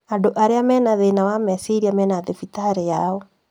Andũ arĩa mena thĩna wa meciria mena thibitarĩ yao